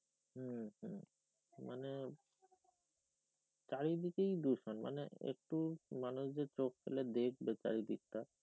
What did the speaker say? হম হম মানে চারিদিকে দূষণ মানে একটু মানুষ যে চোখ ফেলে দেখবে চারিদিক টা